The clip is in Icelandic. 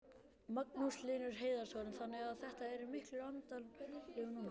Magnús Hlynur Hreiðarsson: Þannig að þetta eru miklir annadagar núna?